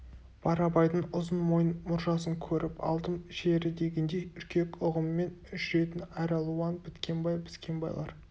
барабайдың ұзын мойын мұржасын көріп алдым жері дегендей үркек ұғыммен жүретін әралуан біткенбай біскенбайлар